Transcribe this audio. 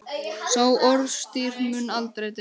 Sá orðstír mun aldrei deyja.